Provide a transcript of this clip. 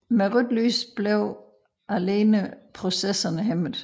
Med rødt lys alene blev processerne hæmmet